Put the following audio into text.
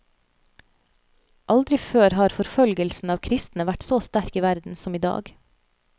Aldri før har forfølgelsen av kristne vært så sterk i verden som idag.